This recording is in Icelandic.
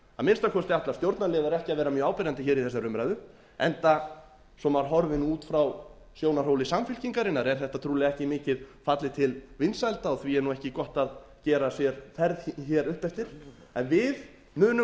að minnsta kosti ætla stjórnarliðar ekki að vera mjög áberandi hér í þessari umræðu enda svo maður horfi nú út frá sjónarhóli samfylkingarinnar er þetta trúlega ekki mikið fallið til vinsælda og því er ekki gott að gera sér ferð hér upp eftir en við munum